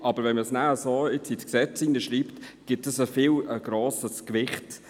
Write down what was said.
Schreibt man es aber so ins Gesetz, gibt es ein viel zu grosses Gewicht.